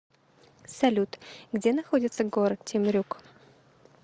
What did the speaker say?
салют где находится город темрюк